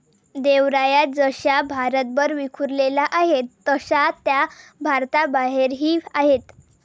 देवराया जशा भारतभर विखुरलेल्या आहेत तशा त्या भारताबाहेरही आहेत.